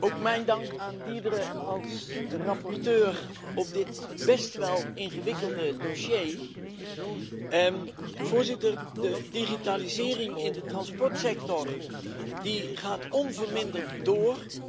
Ook mijn dank aan Deirdre als rapporteur voor dit best wel ingewikkelde dossier. De digitalisering in de transportsector gaat onverminderd door.